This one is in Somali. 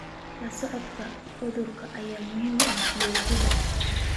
La socodka cudurrada ayaa muhiim u ah fayoobida.